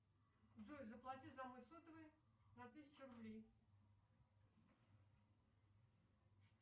джой заплати за мой сотовый на тысячу рублей